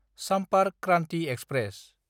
Sampark Kranti express